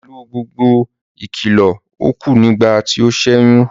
Pẹ̀lú gbogbo ìkìlọ̀, ó kú nígbà tí ó sẹ́yún